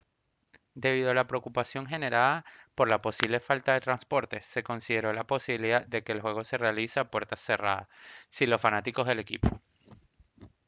debido a la preocupación generada por la posible falta de transporte se consideró la posibilidad de que el juego se realizara a puertas cerradas sin los fanáticos del equipo